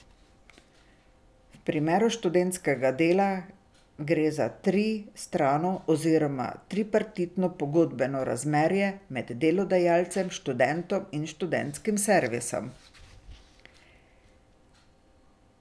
V primeru študentskega dela gre za tristrano oziroma tripartitno pogodbeno razmerje med delodajalcem, študentom in študentskim servisom.